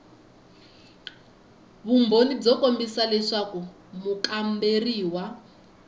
vumbhoni byo kombisa leswaku mukamberiwa